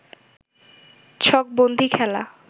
ছকবন্দী খেলা